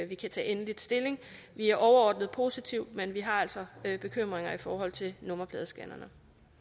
vi kan tage endelig stilling vi er overordnet positive men vi har altså bekymringer i forhold til nummerpladescannerne